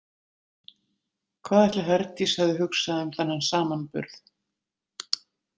Hvað ætli Herdís hefði hugsað um þennan samanburð?